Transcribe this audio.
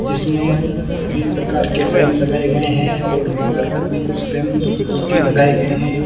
जिसमें सभी प्रकार के फ्रेम लगाए गए है और दीवार पर भी कुछ फ्रेम जो की लगाए गए हैं।